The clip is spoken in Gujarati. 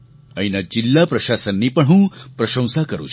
અહીંના જિલ્લા પ્રશાસનની પણ હું પ્રશંસા કરું છું